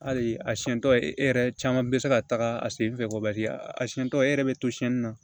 Hali a siɲɛ tɔ e yɛrɛ caman bɛ se ka taga a sen fɛ kɔbali a siɲɛ tɔ e yɛrɛ bɛ to siyɛnni na